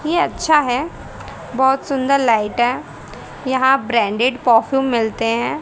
ये अच्छा है बहोत सुंदर लाइट है यहां ब्रांडेड परफ्यूम मिलते हैं।